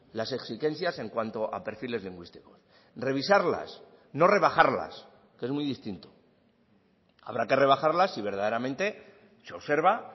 las exigencias en cuanto a perfiles lingüísticos revisarlas no rebajarlas que es muy distinto habrá que rebajarlas si verdaderamente se observa